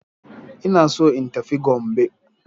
Ina so in tafi Gombe.